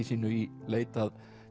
sínu í leit að